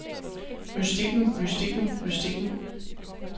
mystikken mystikken mystikken